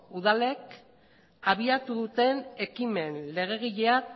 udalek abiatu duten ekimen legegilea